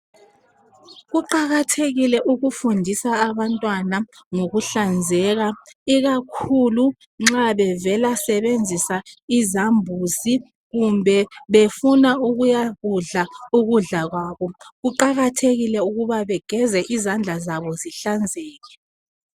Kuqakathekile ufundisa abantwana ngokuhlanzeka ikakhulu nxa bevela sebenzisa izambuzi kumbe befuna ukuya kudla ukudla kwabo. Kuqakathekile ukuba begeze izandla zabo zihlanzeke.